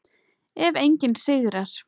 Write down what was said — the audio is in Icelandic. Ef enginn sigrar.